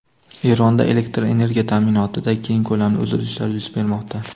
Eronda elektr energiya ta’minotida keng ko‘lamli uzilishlar yuz bermoqda.